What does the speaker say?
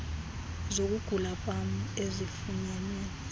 zokugula kwam ezifunyenwe